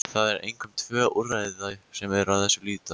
Það eru einkum tvö úrræði sem að þessu lúta.